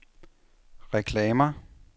reklamer